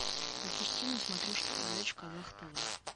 запусти на смотрешке передачу казах тв